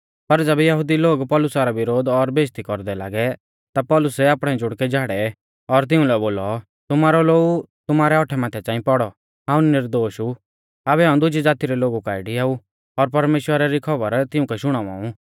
पर ज़ैबै यहुदी लोग पौलुसा रौ विरोध और बेइज़्ज़ती कौरदै लागै ता पौलुसै आपणै जुड़कै झाड़ै और तिउंलै बोलौ तुमारौ लोऊ तुमारै औट्ठै माथै च़ांई पौड़ौ हाऊं निर्दोष ऊ आबै हाऊं दुजी ज़ाती रै लोगु काऐ डियाऊ और परमेश्‍वरा री खौबर तिउंकै शुणावा ऊ